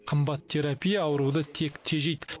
қымбат терапия ауруды тек тежейді